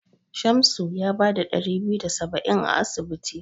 Shamsu ya bada ɗari biyu da saba'in a asibiti.